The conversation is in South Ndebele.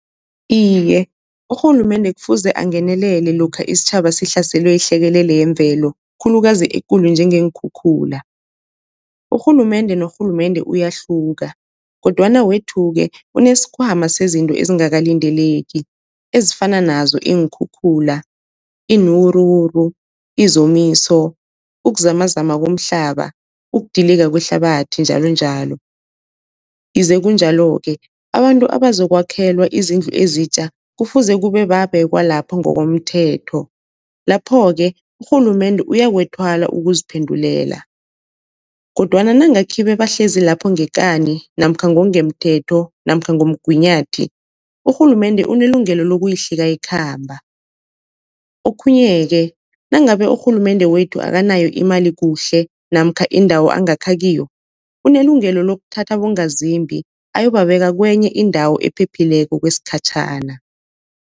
Iye, urhulumende kufuze angenelele lokha isitjhaba sihlaselwe yihlekelele yemvelo khulukazi ekulu njengeenkhukhula. Urhulumende norhulumende uyahluka kodwana wethu-ke unesikhwama sezinto ezingakalindeleki ezifana nazo iinkhukhula, iinwuruwuru, izomiso, ukuzamazama komhlaba ukudilika kwehlabathi njalonjalo. Ize kunjalo-ke abantu abazokwakhelwa izindlu ezitja kufuze kube babekwa lapho ngokomthetho, lapho-ke urhulumende uyakuthwala ukuziphendulela. Kodwana nange khibe bahlezi lapho ngekani namkha ngokungemthetho namkha ngomgunyathi, urhulumende unelungelo lokuyihlika ikhamba. Okhunye-ke nangabe urhulumende wethu akanayo imali kuhle namkha indawo angakha kiyo, unelungelo lokuthatha abongazimbi ayobabeka kenye indawo ephephileko kwesikhatjhana.